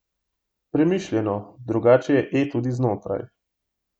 Premišljeno drugačen je E tudi znotraj.